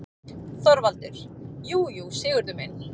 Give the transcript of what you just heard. ÞORVALDUR: Jú, jú, Sigurður minn.